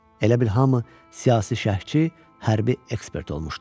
Elə bil hamı siyasi şərhçi, hərbi ekspert olmuşdu.